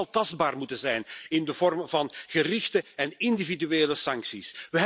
Die zal tastbaar moeten zijn in de vorm van gerichte en individuele sancties.